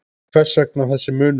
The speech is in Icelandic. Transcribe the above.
Hvers vegna þessi munur?